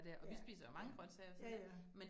Ja, ja, ja ja